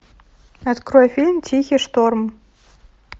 открой фильм тихий шторм